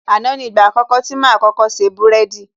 Àná ni ìgbà àkọ́kọ́ tí máa kọ́kọ́ ṣe búrẹ́dì